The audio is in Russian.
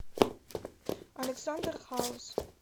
александр хаус